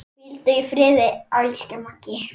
Hvíldu í friði, elsku Maggi.